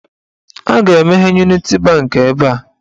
A ga-emeghe Uniti bankị ebe a.